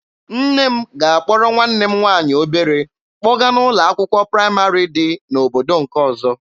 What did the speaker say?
Nne m ga-akpọrọ nwanne m nwaanyị obere kpọga n'ụlọ akwụkwọ praịmarị dị n'obodo nke ọzọ.